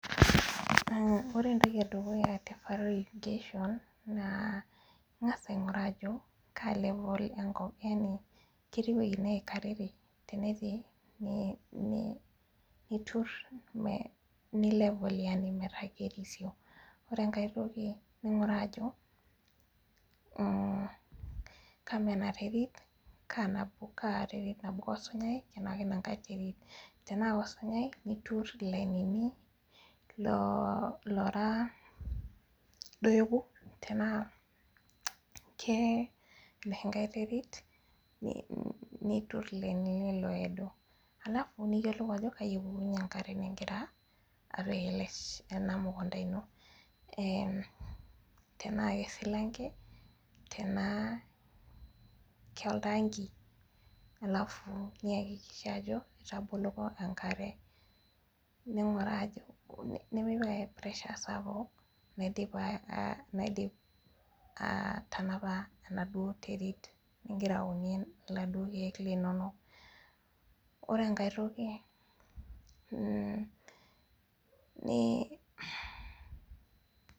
Ore entoki edukuya tee irrigation naa eng'as aing'oru level enkop ketii wuejitin neikarere tenetii nitur metaa kerisio ore enkae toki ningiruaa enterit Ajo Kaa nabo kosunyai Tena enkae terit tenaa Koo sunyai nitur lainini loo raa do you Tena ena nkae terit niturur lainini odoo alafu niyiolou Ajo kaji epukunyie enkare nigira apik ena mukunda eno tenaa kesilanke tenaa oltangi alafu niyakikisha Ajo etaboloko enkare ninguraa nimipik ake pressure sapuk naidim atanapai enaduo terit nigira aunie eladuo keek linono ore enkae toki n